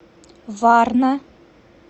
варна